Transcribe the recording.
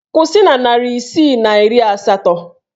Kwụsị na narị isii na iri asatọ!